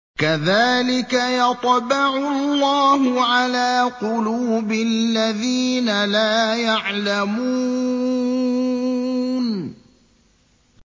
كَذَٰلِكَ يَطْبَعُ اللَّهُ عَلَىٰ قُلُوبِ الَّذِينَ لَا يَعْلَمُونَ